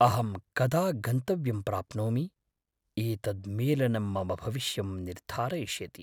अहं कदा गन्तव्यं प्राप्नोमि? एतद् मेलनं मम भविष्यं निर्धारयिष्यति।